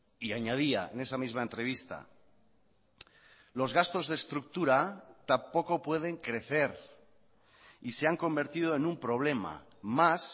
y añadía en esa misma entrevista los gastos de estructura tampoco pueden crecer y se han convertido en un problema más